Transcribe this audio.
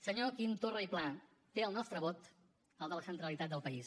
senyor quim torra i pla té el nostre vot el de la centralitat del país